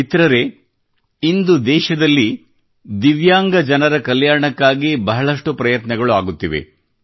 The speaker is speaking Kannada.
ಮಿತ್ರರೇ ಇಂದು ದೇಶದಲ್ಲಿ ದಿವ್ಯಾಂಗ ಜನರ ಕಲ್ಯಾಣಕ್ಕಾಗಿ ಬಹಳಷ್ಟು ಪ್ರಯತ್ನಗಳು ಆಗುತ್ತಿವೆ